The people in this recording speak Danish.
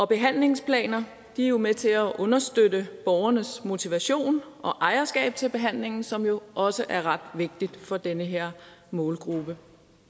behandlingsplaner er jo med til at understøtte borgernes motivation og ejerskab til behandlingen som jo også er ret vigtig for den her målgruppe